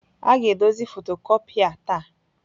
A ga-edozi fotocopia taa.